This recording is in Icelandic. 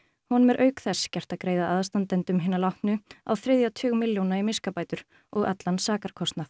honum er auk þess gert að greiða aðstandendum hinna látnu á þriðja tug milljóna í miskabætur og allan sakarkostnað